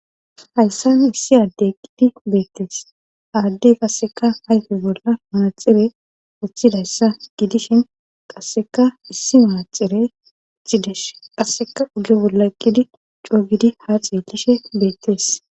Hayssani issi aadde qidi beettes aaddey qasseka hayfe bolla maaxire oththidayssa gidishin qasseka issi maaxire ithidesh qasseka uge bolla ekkidi coo gidi ha xeelishe beettees.